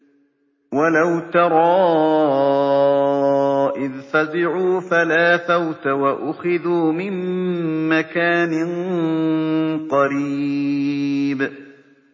وَلَوْ تَرَىٰ إِذْ فَزِعُوا فَلَا فَوْتَ وَأُخِذُوا مِن مَّكَانٍ قَرِيبٍ